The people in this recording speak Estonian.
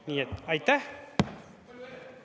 Nii et aitäh!